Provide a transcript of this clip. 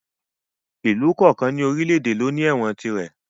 Ìlú kọ̀ọ̀kan ní orílè èdè ló ní ẹ̀wọ̀n tirẹ̀